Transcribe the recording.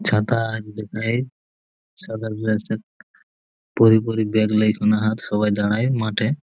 ছাতা আজ দেখায় ছেলেগুলো সব পড়ি পড়ি ব্যাগ সবাই দাড়ায় মাঠে।